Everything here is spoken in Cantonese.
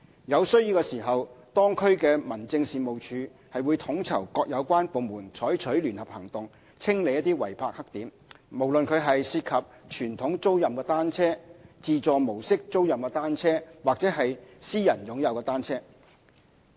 有需要時，當區民政事務處會統籌各有關部門採取聯合行動，清理違泊黑點，不論是涉及傳統租賃的單車、自助模式租賃的單車或私人擁有的單車。